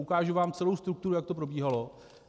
Ukážu vám celou strukturu, jak to probíhalo.